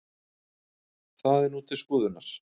Það er nú til skoðunar